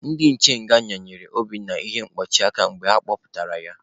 Ndị nche nga yinyere Obinna ihe ntuchi aka mgbe ha kpọpụtara ya.